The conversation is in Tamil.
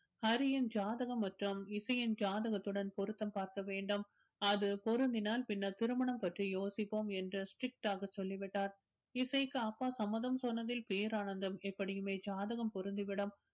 ஹரியின் ஜாதகம் மற்றும் இசையின் ஜாதகத்துடன் பொருத்தம் பார்க்க வேண்டும் அது பொருந்தினால் பின்னர் திருமணம் பற்றி யோசிப்போம் என்று strict ஆக சொல்லிவிட்டார் இசைக்கு அப்பா சம்மதம் சொன்னதில் பேரானந்தம் எப்படியுமே ஜாதகம் பொருந்திவிடும்